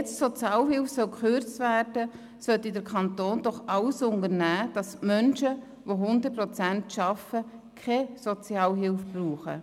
Wenn nun die Sozialhilfe gekürzt werden soll, sollte der Kanton doch alles unternehmen, damit die Menschen, die 100 Prozent arbeiten, keine Sozialhilfe brauchen.